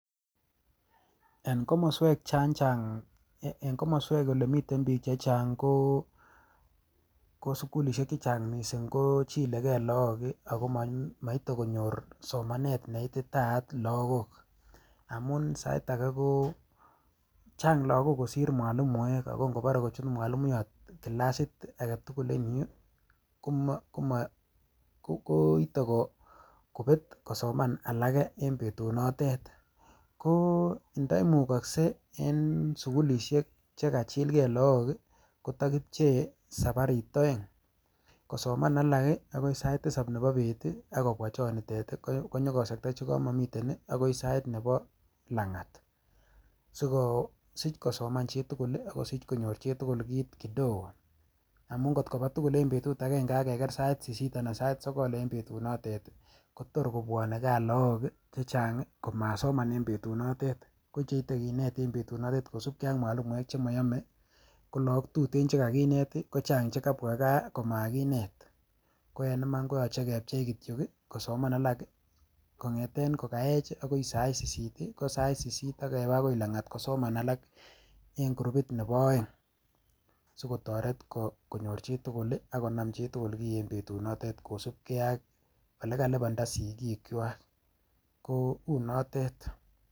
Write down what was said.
En komoswek olemi biik chechang, ko sugulisiek chechang missing ko chilegei logbook ako moite konyoor somanet neititaat lagook. Amun Sait age ko chang lagook kosiir mwalimuek ,ak ingobore kochut mwalimuyoot kilasit agetugul en yuh, koite kobet kosoman alage en betunoton. Ko indoimukoksei en sugulisiek chekachilgee logook kotapchei koik sabariit oeng' .Kosaman alak akoi sai tisap nebo beet ak kobwa chonitet, kinyonkosektaa chekomokomiten akoi Sait Nebo langat. Sikosich kosoman chitugul ako sich konyoor chitugul kit kiten, amun angot kobaa tugul en betut agenge ak keger sait sisit anan sait sogol en betunotet kotor kobwone gaa logook chechang komasoman en betunotet. So yoche kinet en betunotet. kosiibge ak mwalimuek chemoyomee, KO logook tuten chekakineet kochang chekabwa gaa komakinet. Koen Iman koyoche kepchei kityook kosoman alak kongeten kokayech akoi sait sisit, ak kong'eten sait sisit ako langat kosoman alak en kurupit nebo oeng sikotoret konyoor chitugul akonaam chitugul kiiy en betunoten kosiibgeei ak olekalipandaa sigikwak, kounotet.